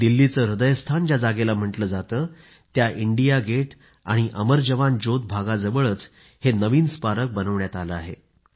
दिल्लीचे हृदयस्थान ज्या जागेला म्हटलं जातं त्या इंडिया गेट आणि अमर जवान ज्योत भागाजवळच हे नवीन स्मारक बनवण्यात आलं आहे